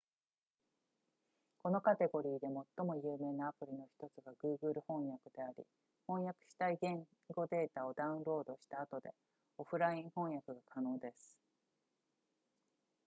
このカテゴリーで最も有名なアプリの1つが google 翻訳であり翻訳したい言語データをダウンロードした後でオフライン翻訳が可能です